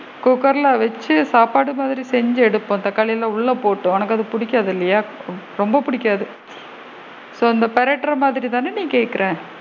குக்கர்ல வச்சு சாப்பாடு மாதிரி தான் செஞ்சு எடுப்போம் தக்காளிலா உள்ள போட்டு உனக்கு அது பிடிக்காது இல்லையா? ரொம்ப பிடிக்காது so இந்த பிரட்டுற மாதிரி தான நீ கேட்குற,